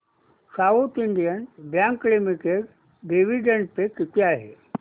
south Indian Bank Limited dividend pay किती आहे